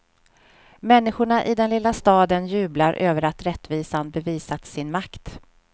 Människorna i den lilla staden jublar över att rättvisan bevisat sin makt.